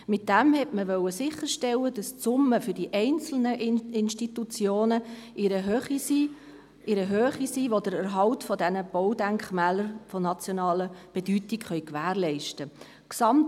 Damit wollte man sicherstellen, dass die Summe für die einzelnen Institutionen so hoch ist, dass der Erhalt der Baudenkmäler von nationaler Bedeutung gewährleistet ist.